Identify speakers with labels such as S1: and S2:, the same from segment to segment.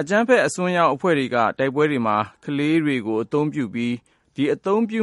S1: အကြမ်းဖက် အစွန်းရောက် ဝါဒီအဖွဲ့တွေက တိုက်ပွဲတွေမှာ ကလေးတွေကို အသုံးပြု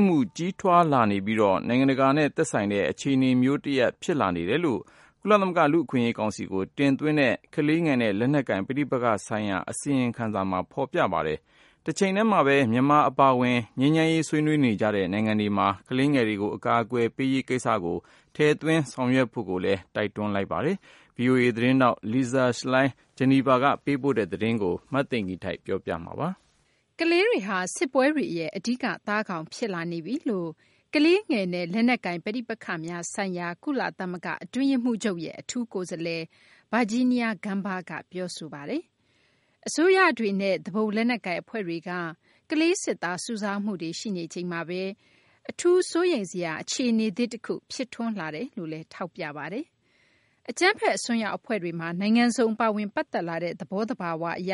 S1: မှု ကြီးထွားလာနေပြီး နိုင်ငံတကာနဲ့ သက်ဆိုင်တဲ့ အခြေအနေ တရပ် ဖြစ်လာနေတယ်လို့ ကုလသမဂ္ဂ လူ့အခွင့်အရေး ကောင်စီကို တင်သွင်းလိုက်တဲ့ ကလေးငယ်တွေနဲ့ လက်နက်ကိုင် ပဋိပက္ခဆိုင်ရာ အစီရင်ခံစာက ဖော်ပြပါတယ်။ တချိန်တည်းမှာဘဲ မြန်မာ အပါအဝင် ငြိမ်းချမ်းရေး ဆွေးနွေးနေကြတဲ့ နိုင်ငံတွေ အနေနဲ့ ငြိမ်းချမ်းရေး စေ့စပ်ဆွေးနွေးမှုတွေမှာ ကလေးငယ်တွေကို အကာအကွယ်ပေးရေး ကိစ္စကို ထည့်သွင်းဆောင်ရွက်ဖို့လည်း တိုက်တွန်းပါတယ်။ ဗွီအိုအေ သတင်းထောက် Lisa Schlein ဂျီနီဗာကနေ သတင်းပေးပို့ထားပါတယ်။ မသိင်္ဂ ီထိုက် ပြောပြပေးမှာပါ
S2: ။ ကလေးတွေဟာ စစ်ပွဲတွေရဲ့ အဓိက သားကောင် ဖြစ်လာနေပြီလို့ ကလေးငယ်နဲ့ လက်နက်ကိုင် ပဋိပက္ခများဆိုင်ရာ ကုလသမဂ္ဂ အတွင်းရေးမှူးချုပ်ရဲ့ အထူးကိုယ်စားလှယ် Virginia Gamba က ပြောဆိုလိုက်ပါတယ်။ အစိုးရတွေနဲ့ သူပုန် လက်နက်ကိုင် အဖွဲ့တွေက ကလေးစစ်သား စုဆောင်းမှုတွေ ရှိနေချိန်မှာဘဲ အထူးစိုးရိမ်စရာ အခြေအနေသစ် တခု ဖြစ်ထွန်းလာနေတယ်လို့လည်း ထောက်ပြပါတယ်။ အကြမ်းဖက် အစွန်းရောက် အဖွဲ့တွေမှာ နိုင်ငံစုံ ပါဝင်ပတ်သက်လာတဲ့ သဘောသဘာ၀ အရ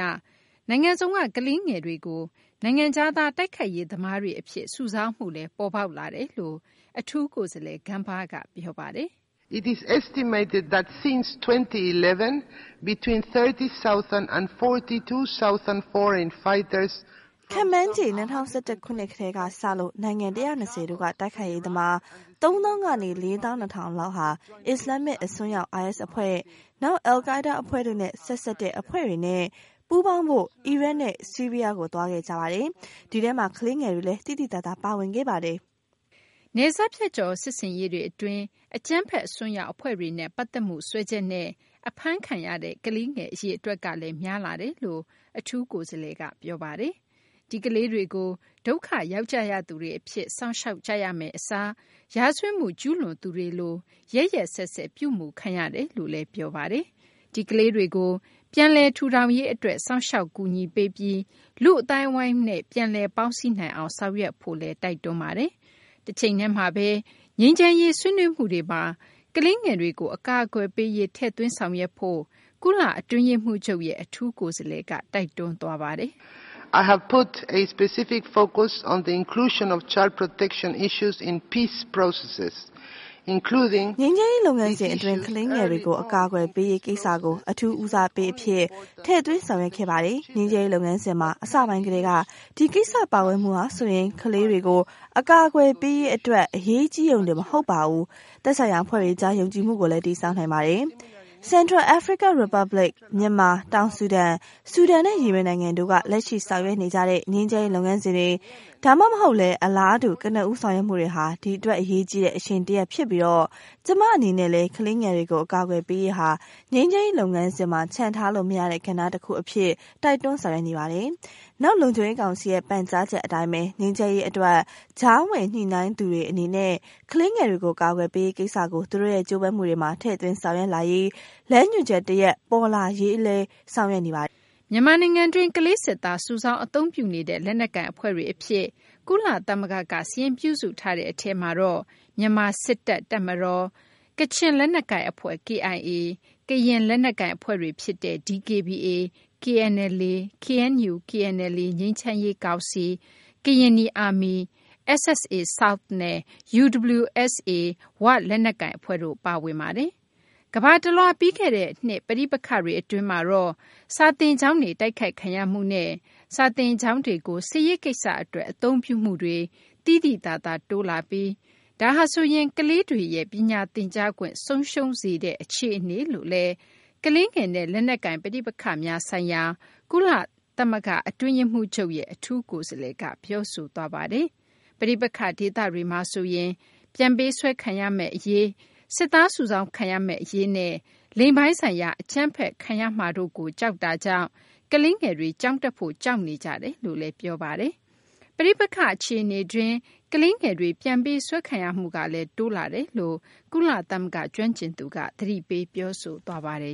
S2: နိုင်ငံစုံက ကလေးငယ်တွေကို နိုင်ငံခြားသား တိုက်ခိုက်ရေး သမားတွေ အဖြစ် စုဆောင်းမှုလည်း ပေါ်ပေါက်လာတယ်လို့လည်း အထူးကိုယ်စားလှယ် Gamba က ပြောပါတယ်။ "
S3: ခန့်မှန်းခြေ ၂၀၁၁ ခုနှစ် ကတည်းကစလို့ နိုင်ငံ ၁၂၀ တို့က တိုက်ခိုက်ရေးသမား ၃ သောင်းကနေ ၄ သောင်း ၂ ထောင်လောက်ဟာ အစ္စလာမ္မစ် အစွန်းရောက် IS အဖွဲ့၊ နောက် al-Qaida အဖွဲ့တို့နဲ့ ဆက်စပ်တဲ့ အဖွဲ့တွေနဲ့ ပူးပေါင်းဖို့ အီရတ်နဲ့ ဆီးရီးယားကို သွားခဲ့ကြပါတယ်။ ဒီထဲမှာ ကလေးငယ်တွေလည်း သိသိသာသာ ပါဝင်ခဲ့ပါတယ်။" နယ်စပ်ဖြတ်ကျော် စစ်ဆင်ရေးတွေ အတွင်း အကြမ်းဖက် အစွန်းရောက် အဖွဲ့တွ
S2: ေနဲ့ ပက်သတ်မှု စွဲချက်နဲ့ အဖမ်းခံရတဲ့ ကလေးငယ် အရေအတွက်ကလည်း များလာတယ်လို့လည်း အထူးကိုယ်စားလှယ် Gamba က ပြောပါတယ်။ ဒီကလေးတွေကို ဒုက္ခရောက်ကြရသူတွေ အဖြစ် စောင့်ရှောက်ကြရမယ့် အစား ရာဇဝတ်မှု ကျူးလွန်သူတွေလို ရက်ရက်စက်စက် ပြုမှုခံရတယ်လို့လည်း ထောက်ပြသွားပါတယ်။ ဒီကလေးတွေကို ပြန်လည်ထူထောင်ရေး အတွက် စောင့်ရှောက်ကူညီပေးပြီး လူ့အသိုင်းအဝိုင်းမှာ ပြန်လည်ပေါင်းစည်းနိုင်အောင် ဆောင်ရွက်ကြဖို့လည်း တိုက်တွန်းပါတယ်။ တချိန်တည်းမှာဘဲ ငြိမ်းချမ်းရေး ဆွေးနွေးမှုတွေမှာ ကလေးငယ်တွေကို အကာအကွယ်ပေးရေး ထည့်သွင်းဆောင်ရွက်ဖို့ ကုလ အတွင်းရေးမှူးချုပ်ရဲ့ အထူးကိုယ်စားလှယ်က တိုက်တွန်းပါတယ်။ "ငြိမ်းချမ်
S3: းရေး လုပ်ငန်းစဉ်အတွင်း ကလေးငယ်တွေကို အကာအကွယ်ပေးရေး ကိစ္စကို အထူးဦးစားပေးအဖြစ် ထည့်သွင်းဆောင်ရွက်ခဲ့ပါတယ်။ ငြိမ်းချမ်းရေး လုပ်ငန်းစဉ်မှာ အစပိုင်းကတည်းက ဒီကိစ္စ ပါဝင်မှုဟာဆိုရင် ကလေးတွေကို အကာအကွယ်ပေးရေး အတွက် အရေးကြီးရုံတင် မဟုတ်ပါဘူး သက်ဆိုင်ရာ အဖွဲ့တွေကြား ယုံကြည်မှုကိုလည်း တည်ဆောက်နိုင်ပါတယ်။ ဗဟိုအာဖရိက သမ္မတနိုင်ငံ၊ မြန်မာ၊ တောင်ဆူဒန်၊ ဆူဒန်နဲ့ ယီမင်နိုင်ငံတို့က လက်ရှိ ဆောင်ရွက်နေကြတဲ့ ငြိမ်းချမ်းရေး လုပ်ငန်းစဉ်တွေ ဒါမှမဟုတ်လည်း အလားတူ ကနဦး ဆောင်ရွက်မှုတွေဟာ ဒီအတွက် အရေးကြီးတဲ့ အရှိန်တရပ် ဖြစ်ပြီး ကျမ အနေနဲ့လည်း ကလေးငယ်တွေကို အကာအကွယ်ပေးရေးဟာ ငြိမ်းချမ်းရေး လုပ်ငန်းစဉ်မှာ ချန်ထားလို့ မရတဲ့ ကဏ္ဍ တခုအဖြစ် တိုက်တွန်းဆောင်ရွက်နေပါတယ်။ နောက် လုံခြုံရေး ကောင်စီရဲ့ ပန်ကြားချက် အတိုင်းဘဲ ငြိမ်းချမ်းရေး အတွက် ကြားဝင် ညှိနှိုင်းသူတွေ အနေနဲ့ ကလေးငယ်တွေကို အကာအကွယ်ပေးရေး ကိစ္စကို သူတို့ရဲ့ ကြိုးပမ်းမှုတွေမှာ ထည့်သွင်းဆောင်ရွက်လာရေး လမ်းညွှန်ချက် တရပ် ပေါ်လာရေးလည်း ဆောင်ရွက်နေပါတယ်။" မြန်မာန
S2: ိုင်ငံတွင်း ကလေးစစ်သား စုဆောင်း အသုံးပြုနေတဲ့ လက်နက်ကိုင် အဖွဲ့တွေ အဖြစ် ကုလသမဂ္ဂက စာရင်းပြုစုထားတဲ့ အထဲမှာ မြန်မာ စစ်တပ်၊ ကချင် လက်နက်ကိုင် အဖွဲ့ KIA၊ ကရင် လက်နက်ကိုင် အဖွဲ့တွေ ဖြစ်တဲ့ DKBA၊ KNLA ၊ KNU-KNLA ငြိမ်းချမ်းရေး ကောင်စီ၊ Karenni Army ၊ SSA –South နဲ့ UWSA ၀ လက်နက်ကိုင်တို့ ပါဝင်ပါတယ်။ ကမ္ဘာတလွှား ပြီးခဲ့တဲ့နှစ် ပဋိပက္ခတွေ အတွင်းမှာတော့ စာသင်ကျောင်းတွေ တိုက်ခိုက်ခံရမှုနဲ့ စာသင်ကျောင်းတွေကို စစ်ရေးကိစ္စ အတွက် အသုံးပြုမှုတွေ သိသိသာသာ တိုးလာပြီး ဒါဟာဆိုရင် ကလေးတွေရဲ့ ပညာသင်ကြားခွင့် ဆုံးရှုံးစေတဲ့ အခြေအနေမျိုးလို့လည်း ကလေးငယ်နဲ့ လက်နက်ကိုင် ပဋိပက္ခများဆိုင်ရာ ကုလအတွင်းရေးမှူးချုပ်ရဲ့ အထူးကိုယ်စားလှယ်က ပြောဆိုသွားပါတယ်။ ပဋိပက္ခ ဒေသတွေမှာဆိုရင် ပြန်ပေးဆွဲခံရမယ့်အရေး၊ စစ်သား စုဆောင်းခံရမယ့် အရေးနဲ့ လိင်ပိုင်းဆိုင်ရာ အကြမ်းဖက်ခံရမယ့် အရေးတို့ကြောင့် ကလေးတွေ ကျောင်းတက်ဖို့ ကြောက်ရွံ့နေကြတယ်လို့လည်း ပြောပါတယ်။ ပဋိပက္ခ အခြေအနေတွင်း ကလေးငယ်တွေ ပြန်ပေးဆွဲခံရမှုကလည်း တိုးလာတယ်လို့ ကုလသမဂ္ဂ ကျွမ်းကျင်သူက သတိပေး ပြောဆိုသွားပါတယ်